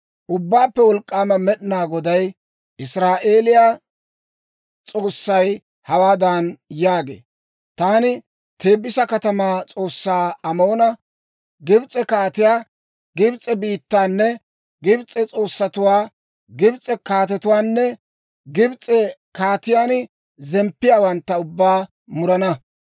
Ubbaappe Wolk'k'aama Med'inaa Goday, Israa'eeliyaa S'oossay hawaadan yaagee; «Taani Teebisa katamaa s'oossaa Amoona, Gibs'e kaatiyaa, Gibs'e biittaanne Gibs'e s'oossatuwaa, Gibs'e kaatetuwaanne Gibs'e kaatiyaan zemppiyaawantta ubbaa murana.